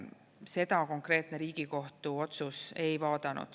Seda konkreetne Riigikohtu otsus ei vaadanud.